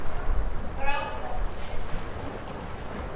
Frábært veður og útsýni.